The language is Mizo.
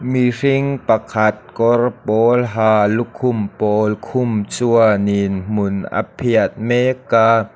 mihring pakhat kawr pawl ha lukhum pawl khum chuanin hmun a phiat mek a.